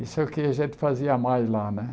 Isso é o que a gente fazia mais lá né.